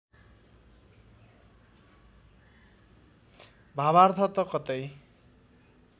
भावार्थ त कतै